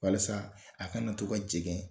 Walasa a kana to ka jɛŋɛ